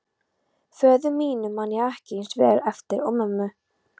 Föður mínum man ég ekki eins vel eftir og mömmu.